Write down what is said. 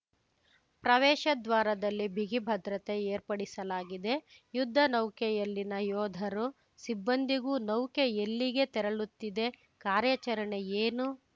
ಪ್ರವೇಶದ್ವಾರದಲ್ಲಿ ಬಿಗಿ ಭದ್ರತೆ ಏರ್ಪಡಿಸಲಾಗಿದೆ ಯುದ್ಧ ನೌಕೆಯಲ್ಲಿನ ಯೋಧರು ಸಿಬ್ಬಂದಿಗೂ ನೌಕೆ ಎಲ್ಲಿಗೆ ತೆರಳುತ್ತಿದೆ ಕಾರ್ಯಾಚರಣೆ ಏನು